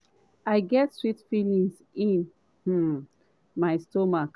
i get sweet feeling in um my stomach.